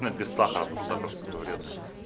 а без сахара потому что сахар сука вредный